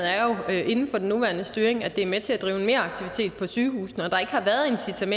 inden for den nuværende styring er det er med til at drive meraktivitet på sygehusene og